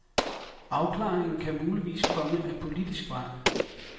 Afklaringen kan muligvis komme ad politisk vej.